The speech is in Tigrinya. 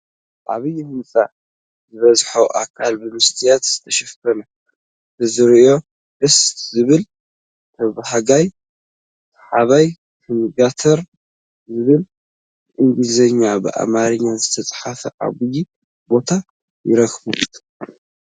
ዓብይ ህንፃ ዝበዝሐ ኣካሉ ብመስትያት ዝተሸፈነ እትርዝዮ ደሰ ዝብል ተባሃጋይን ስሓባይን ሰንጋተራ ዝብል ብእንግሊዝኛና በኣማርኛ ዝተፅሓፈ ኣባይ ቦታ ይርከብ ?